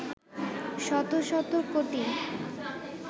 শত শত কোটি